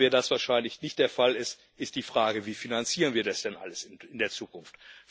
Da das aber wahrscheinlich nicht der Fall ist, ist die Frage Wie finanzieren wir das denn alles in der Zukunft?